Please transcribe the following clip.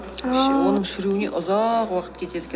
ааа оның шіруіне ұзақ уақыт кетеді екен